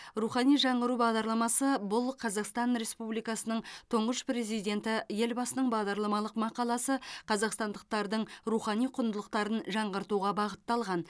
рухани жаңғыру бағдарламасы бұл қазақстан республикасының тұңғыш президенті елбасының бағдарламалық мақаласы қазақстандықтардың рухани құндылықтарын жаңғыртуға бағытталған